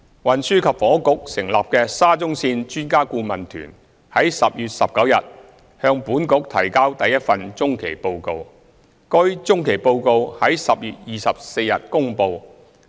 運輸及房屋局成立的沙中線專家顧問團於10月19日向本局提交第一份中期報告，該中期報告於10月24日公布。